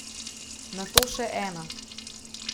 Nato še ena.